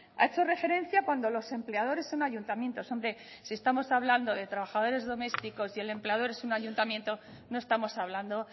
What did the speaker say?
ha hecho referencia cuando los empleadores son ayuntamientos hombre si estamos hablando de trabajadores domésticos y el empleador es un ayuntamiento no estamos hablando